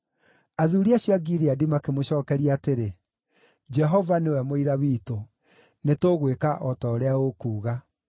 Athuuri acio a Gileadi makĩmũcookeria atĩrĩ, “Jehova nĩwe mũira witũ; nĩtũgwĩka o ta ũrĩa ũkuuga.”